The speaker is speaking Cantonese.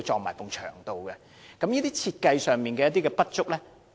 為何會出現這些設計上的不足？